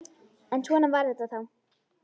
En svona var þetta þá.